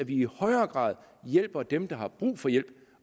i højere grad hjælper dem der har brug for hjælp